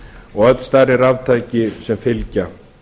og öll stærri raftæki sem fylgja